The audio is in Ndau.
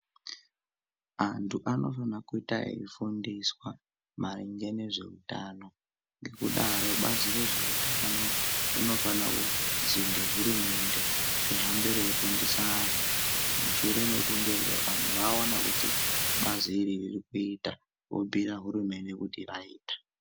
Antu anofana kuita efundiswa maringe nezveutano ngekudaro Bazi rezveutano rinofanakuzwingehurumende rihambe reifundisa anhu mushure mekunge anhu aona kuti bazi iri ririkuita vobhuyira hurumende kuti raita.